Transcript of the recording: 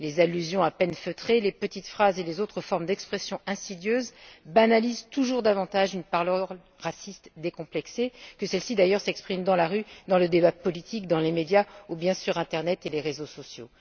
Les allusions à peine feutrées, les petites phrases et les autres formes d'expression insidieuses banalisent toujours davantage une parole raciste décomplexée, que celle ci, d'ailleurs, s'exprime dans la rue, dans le débat politique, dans les médias ou sur l'internet et les réseaux sociaux.